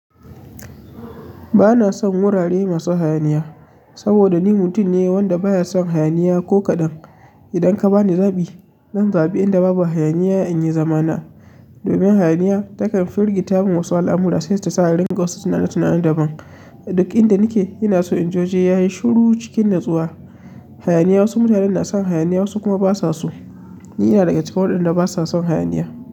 Ba na son wurare masu hayaniya saboda ni mutum ne wanda ba ya son hayaniya. Ko kaɗan idan ka ba ni zaɓi, zan zaɓi inda babu hayaniya inyi zama na. Domin hayaniya takan firgita min wasu al'amura sai ta sa ni rinƙa wasu tunanin tunanin daban. Duk inda nake ina son inji waje yayi shiru wajen nutsuwa. Hayaniya wasu mutanen na son hayaniya wasu kuma ba su so. Ni ina daga cikin waɗanda ba sa son hayaniya.